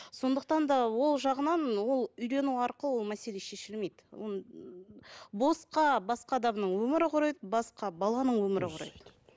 сондықтан да ол жағынан ол үйлену арқылы ол мәселе шешілмейді оны босқа басқа адамның өмірі құриды басқа баланың өмірі құриды